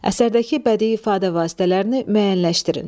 Əsərdəki bədii ifadə vasitələrini müəyyənləşdirin.